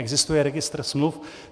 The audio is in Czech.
Existuje registr smluv.